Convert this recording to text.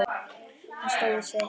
Hann stóð við sitt.